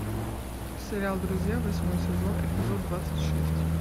сериал друзья восьмой сезон эпизод двадцать шесть